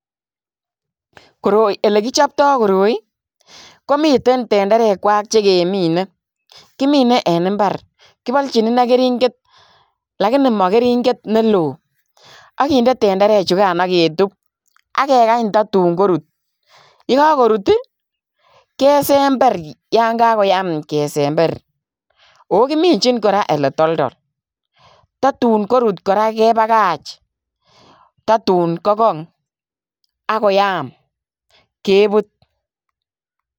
Koroi elekichopto koroi komiten tenderekwak chekemine, kimine en imbar, kibolchin ineii kering'et lakini mokering'et neloo ak kinde tenderechukan ak ketub ak kekany totun korut, yekokorur kesember yoon kakoyam kesember, oo kiminjin kora elee toldol totun korut kora kebakach totun kokong ak koyam kebut.